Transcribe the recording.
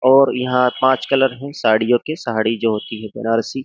और यहाँ पर पांच कलर है साड़ियों के साड़ी जो होती है बनारसी।